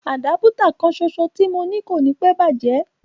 Àdápútà kanṣoṣo tí mo ní kò níí pẹ́ bàjẹ́